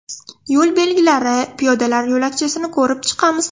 Yo‘l belgilari, piyodalar yo‘lakchasini ko‘rib chiqamiz.